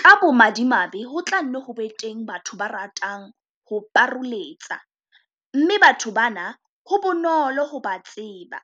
Ka bomadimabe ho tla nne ho be teng batho ba ratang ho paroletsa, mme batho bana ho bonolo ho ba tseba